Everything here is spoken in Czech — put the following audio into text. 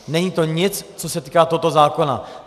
Není to nic, co se týká tohoto zákona.